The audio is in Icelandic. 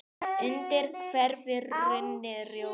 undir hverfur runni, rjóður